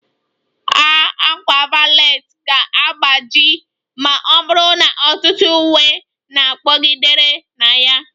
A ákwà valet ga-agbaji ma ọ bụrụ na ọtụtụ uwe na-kpọgidere na ya